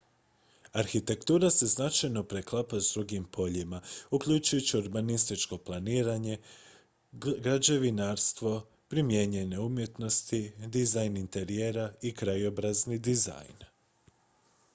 arhitektura se značajno preklapa s drugim poljima uključujući urbanističko planiranje građevinarstvo primijenjene umjetnosti dizajn interijera i krajobrazni dizajn